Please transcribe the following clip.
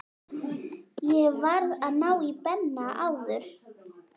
Ég varð að ná í Benna áður.